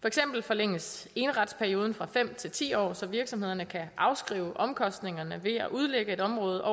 for eksempel forlænges eneretsperioden fra fem til ti år så virksomhederne kan afskrive omkostningerne ved at udlægge et område